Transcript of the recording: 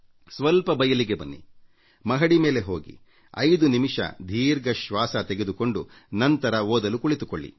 ಸ್ವಲ್ಪ ಬಯಲಿಗೆ ಬನ್ನಿ ಮಹಡಿ ಮೇಲೆ ಹೋಗಿ5 ನಿಮಿಷ ದೀರ್ಘ ಶ್ವಾಸ ತೆಗೆದುಕೊಂಡು ನಂತರ ಓದಲು ಕುಳಿತುಕೊಳ್ಳಿ